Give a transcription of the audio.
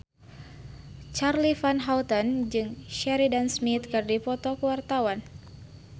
Charly Van Houten jeung Sheridan Smith keur dipoto ku wartawan